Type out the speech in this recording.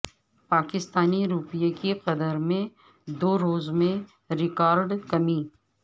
پاکستانی روپے کی قدر میں دو روز میں ریکارڈ کمی